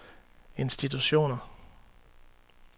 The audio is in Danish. institutioner